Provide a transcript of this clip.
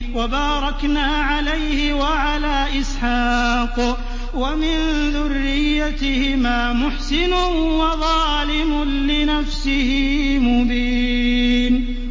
وَبَارَكْنَا عَلَيْهِ وَعَلَىٰ إِسْحَاقَ ۚ وَمِن ذُرِّيَّتِهِمَا مُحْسِنٌ وَظَالِمٌ لِّنَفْسِهِ مُبِينٌ